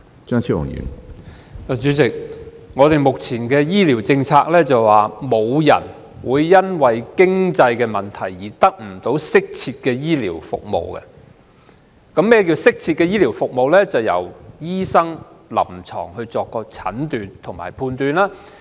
主席，本港目前的醫療政策是沒有人會因為經濟問題而得不到適切的醫療服務。所謂適切的醫療服務，是建基於醫生的臨床診斷及判斷。